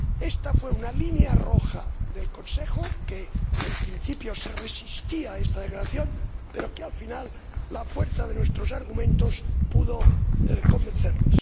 Esta era una línea roja para el Consejo, que, en principio, se resistía a realizar esta declaración, pero finalmente la fuerza de nuestros argumentos pudo convencerles.